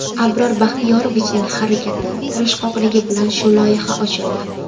Abror Baxtiyorovichning harakati, tirishqoqligi bilan shu loyiha ochildi.